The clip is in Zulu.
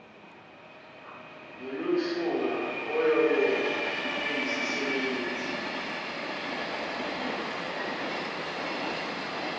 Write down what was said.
lokuhlunga oyobe eyisisebenzi